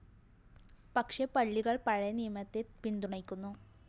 പക്ഷേ പള്ളികള്‍ പഴയനിയമത്തെ പിന്തുണയ്ക്കുന്നു